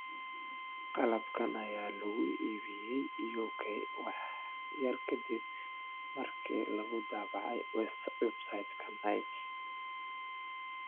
Qalabkan ayaa lagu iibiyay UK wax yar ka dib markii lagu daabacay website-ka Nike.